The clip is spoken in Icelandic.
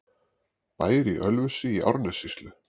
Bær í Ölfusi í Árnessýslu.